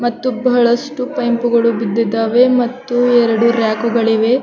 ಮತ್ತು ಬಹಳಷ್ಟು ಪೈಪ್ ಗಳು ಬಿದ್ದಿದ್ದವೆ ಮತ್ತು ಎರಡು ರ್ಯಾಕ್ ಗಳಿವೆ.